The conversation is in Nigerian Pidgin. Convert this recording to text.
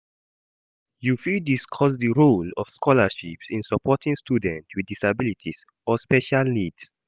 You fit discuss di role of scholarships in supporting students with disabilities or special needs.